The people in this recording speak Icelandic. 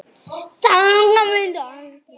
Þangað vildu allir koma.